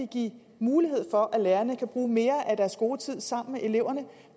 give mulighed for at lærerne kan bruge mere af deres skoletid sammen med eleverne